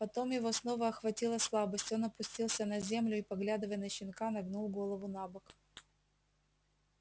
потом его снова охватила слабость он опустился на землю и поглядывая на щенка нагнул голову набок